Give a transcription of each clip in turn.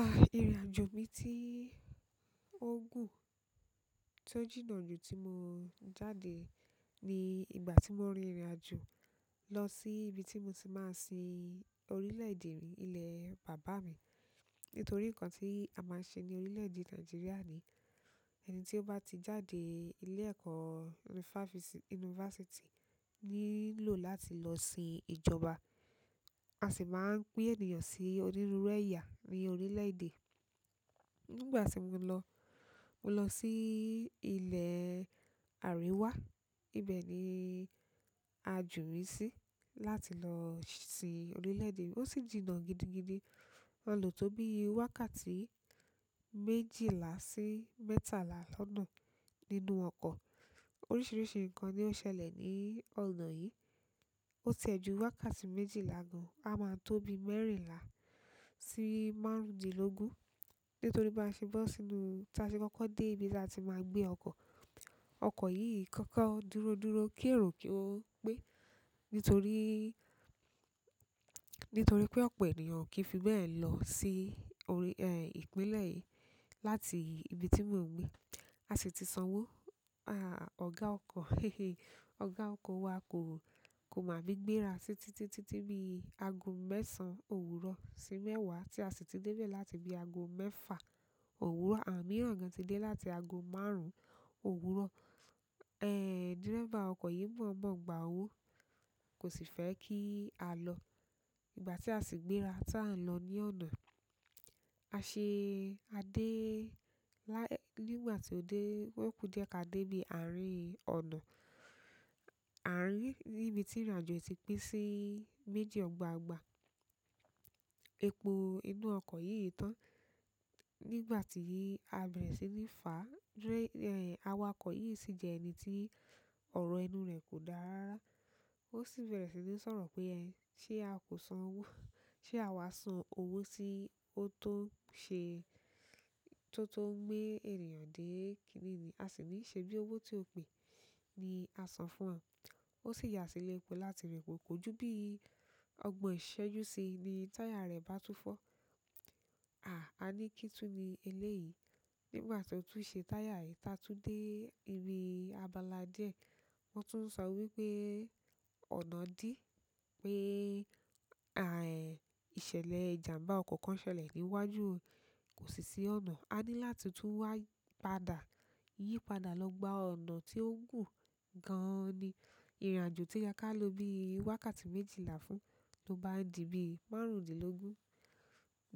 Ah, ìrìnàjò mi tí ó gùn tó jìnnà jù tí mo jáde ni ìgbà tí mo rin ìrìnàjò lọ sí ibi tí mo ti máa sin orílẹ̀ èdè rí, ilẹ̀ bàbá mi. Nítorí nǹkan tí a máa ń ṣe ní orílẹ̀ èdè Nàìjíríà ni, ẹni tí ó bá ti jáde ilé ẹ̀kọ́ yunifásítì, nílò láti lọ sin ìjọba. A sì máa ń pín ènìyàn sí onírúurú ẹ̀yà ní orílẹ̀ èdè. Nígbà tí mo lọ, mo lọ sí ilẹ̀ àrewá. Ibẹ̀ ni ajo mi sí láti lọ si orílẹ̀ èdè. Ó sì jìnnà gidigidi. A lọ tó bí i wákàtí méjìlá sí mẹ́tàlá lọ́nà nínú ọkọ̀. Oríṣiríṣi nǹkan ni ó ṣẹlẹ̀ ní ọ̀nà yìí. Ó tẹ̀ ju wákàtí méjìlá gan. A máa tó bí mẹ́rìnlá sí márùndínlógún. Nito ri bi ase bo sínú, ti a se koko de ibi àti ma gbe oko. Ọkọ̀ yìí kọ́kọ́ dúródúró kí èrò ko pe. Nítorí, nítorí pé ọ̀pọ̀ ènìyàn okì fi bẹ́ẹ̀ lọ sí orí, ẹ́, ìpínlẹ̀ láti ibi tí mò ń gbé. A sì ti sanwó, ah, ọ̀gá ọkọ̀, he he, ọ̀gá ọkọ̀ wa kò, kò ma fe gbé ra títí, títí bí i ago mẹ́sàn-án òwúrọ̀ sí mẹ́wàá tí a sì ti dé bẹ́ẹ̀ láti bí ago mẹ́fà òwúrọ̀. Àwọn mìíràn gan ti dé láti ago márùn-ún òwúrọ̀. Ẹ̀, dírẹ́va ọkọ̀ yìí mọ̀ọ́mọ̀ gba owó, kò sì fẹ́ kí a lọ. Ìgbà tí a sì gbéra tí à ń lọ ní ọ̀nà, a ṣe, a dé lá-- nígbà tí ó dé, ó kú jẹ́ ká dé bí àárín ọ̀nà. Àárín nibi tí ìrìnàjò ti pín sí méjì ọgbàgbà. Epo inú ọkọ̀ yìí tán. Nígbà tí, a bẹ̀rẹ̀ sí ní fà. Díré, ẹ́, awakọ̀ yìí sì jẹ́ ẹni tí ọ̀rọ̀ ẹnu rẹ̀ kò dára. Ó sì bẹ̀rẹ̀ sí ní sọ̀rọ̀ pé, "Ẹ́, ṣé a kò sanwó? Ṣé àwa san owó si ó tó ṣe, tó tó gbe ènìyàn dé kíní ni?" A sì ní ṣebí owó tí ó pè ni a san fún wọn. Ó sì yà sílẹ̀ epo láti rẹ̀ pọ̀. Kójú bí i ọgbọ̀n ṣẹ́jú sí i ni táyà rẹ̀ bá tú fọ́. Àa, a ní kí tún ni eléyìí. Nígbà tí ó tún ṣe táyà yìí, tá a tún dé ibi abala díẹ̀, wọ́n tún sanwó wípé ọ̀nà dí. Pé, àì, ìṣẹ̀lẹ̀ ìjàmbá ọkọ̀ kan ṣẹlẹ̀ níwájú, kò sì sí ọ̀nà. Ani láti tu wa padà yi padà lo gba ọ̀nà ti o gun gan-an ni. Ìrìnàjò tí ó yẹ ká lọ bí i wákàtí méjìlá fún ló bá di bí i márùndínlógún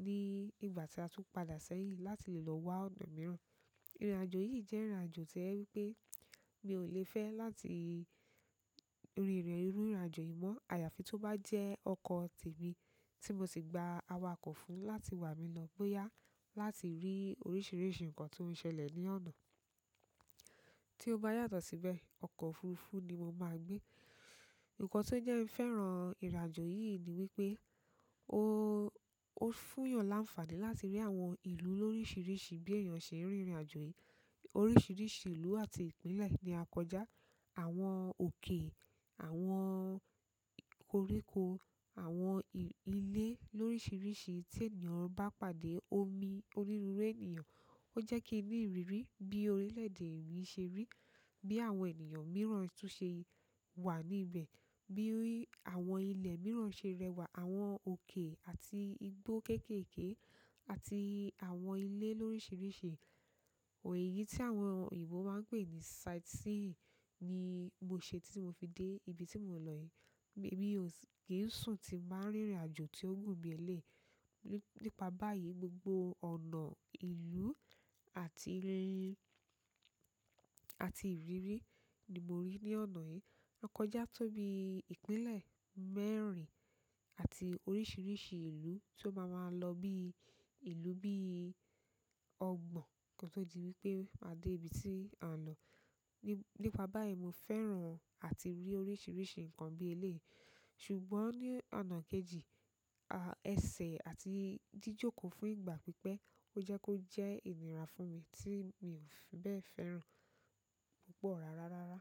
ní ìgbà tí a tún padà sẹ́yìn láti lè lọ wá ọ̀nà mìíràn. Ìrìnàjò yìí jẹ́ ìrìnàjò tí o jẹ wípé mi ò le fẹ́ láti rín ìrìn ìrìnàjò yìí mọ́. Àyàfi tó bá jẹ́ ọkọ̀ tì mí tí mo sì gba awakọ̀ fún láti wà mí lọ bóyá láti rí oríṣiríṣi nǹkan tó ń ṣẹlẹ̀ ní ọ̀nà. Tí ó bá yàtọ̀ síbẹ̀, ọkọ̀ òfurufú ni mo máa gbé. Ìkàn tí ó jẹ́ fẹ́ràn ìrìnàjò yìí ni wípé o, o fún eyan ni anfani, láti ri àwọn ìlú lorisirisi bi eyan se n rin ìrìnàjò yi. Oríṣiríṣi ìlú àti ìpínlẹ̀ ni a kọjá. Àwọn òkè, àwọn koríko, àwọn ilé lóriríṣiríṣi tí ènìyàn bá pàdé omi, onírúurú ènìyàn. Ó jẹ́ kí n ní ìrírí bí orílẹ̀ èdè mi ṣe rí, bí àwọn ènìyàn mìíràn tó ṣe wà níbẹ̀, bí i àwọn ilẹ̀ mìíràn ṣe rẹwà, àwọn òkè àti igbó kéékèèké àti àwọn ilé lóriríṣiríṣi. Òyi yìí tí àwọn òyìnbó máa ń pè ní sight seeing ni mo ṣe tí mo fi dé ibi tí mò ń lọ yìí. Emi ò kì sùn tí n bá ń rin ìrìnàjò tí ó gùn bi eleyi. Nípa báyìí, gbogbo ọ̀nà, ìlú àti rin-- àti ìrírí ni mo rí ní ọ̀nà yìí. A kọjá tó bí i ìpínlẹ̀ mẹ́rin àti oríṣiríṣi ìlú tí ó máa máa lọ bí i ìlú bí i ọgbọ̀n kán tó di wípé a dé ibi tí a ń lọ. Nípa báyìí mo fẹ́ràn àti rí oríṣiríṣi nǹkan bí eléèyì. Ṣùgbọ́n ní ọ̀nà kejì, ah, ẹsẹ̀ àti jíjòkòó fún ìgbà pípẹ́ ó jẹ́ kó jẹ́ ìnira fún mi tí mi ò fi bẹ́ẹ̀ fẹ́ràn púpọ̀ rárá rárá.